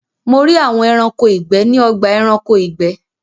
Mo rí àwọn Ẹranko ìgbẹ́ ní ọgbà Ẹranko ìgbẹ́